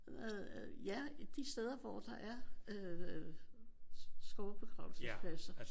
Ja i de steder hvor der er øh skovbegravelsespladser